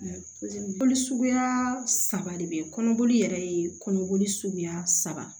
Boli suguya saba de be yen kɔnɔboli yɛrɛ ye kɔnɔboli suguya saba